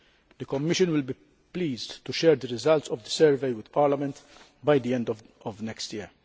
The Commission will be pleased to share the results of the survey with Parliament by the end of next year.